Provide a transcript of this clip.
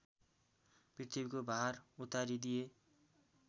पृथ्वीको भार उतारिदिए